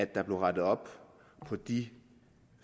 der blev rettet op på de